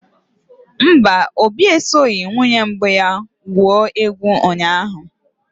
Mba, Obi esoghị nwunye mbụ ya gwuo egwu ụnyahụ.